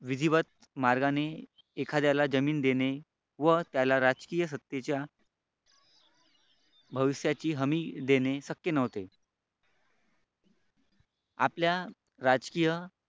विधिवत मार्गाने एखाद्याला जमीन देणे व त्याला राजकीय सत्तेच्या भविष्याची हमी देणे शक्य नव्हते आपल्या राजकीय